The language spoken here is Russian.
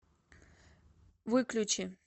выключи